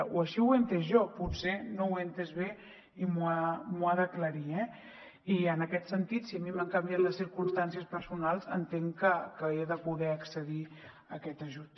o així ho he entès jo potser no ho he entès bé i m’ho ha d’aclarir eh i en aquest sentit si a mi m’han canviat les circumstàncies personals entenc que he de poder accedir a aquest ajut